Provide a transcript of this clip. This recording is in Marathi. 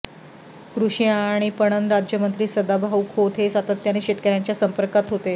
कृषी आणि पणन राज्यमंत्री सदाभाऊ खोत हे सातत्याने शेतकऱ्यांच्या संपर्कात होते